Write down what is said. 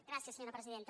gràcies senyora presidenta